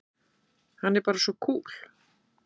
Hann er bara svo kúl!